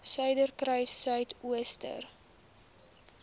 suiderkruissuidooster